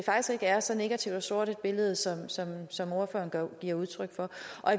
er så negativt og sort et billede som som ordføreren giver udtryk for